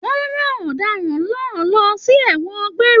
Wọn rán ọdaràn náà lọ sí ẹwọn gbéré.